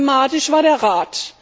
Problematisch war der